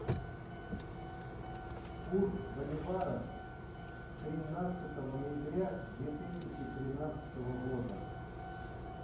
курс боливара тринадцатого ноября две тысячи тринадцатого года